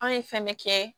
Anw ye fɛn bɛɛ kɛ